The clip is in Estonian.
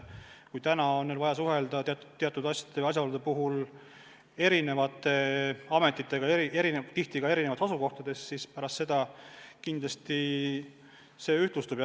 Praegu on neil vaja teatud asjaolude puhul suhelda eri ametitega, seejuures tihti ka eri asukohtades, nüüd see kindlasti ühtlustub.